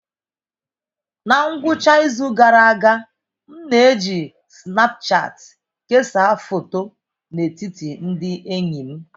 Na ngwụcha izu gara aga, m na-eji Sinapụchati kesaa foto n'etiti ndị enyi m.